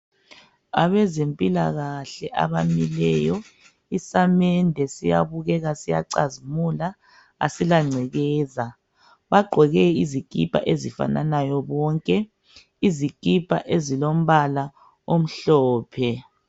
Abezempila kahle abamileyo isamende siyabukeka siyacazimula asilangcekeza bagqoke izikipa ezifananayo bonke , izikipa ezilombala omhlophe.